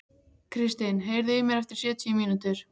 Kristin, heyrðu í mér eftir sjötíu mínútur.